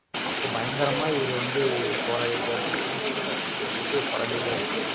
அப்ப பயங்கரமா இவரு வந்து போராடிருக்காப்டி. இந்தி திணிப்புக்கு வந்துட்டு போராடிருக்காப்புடி.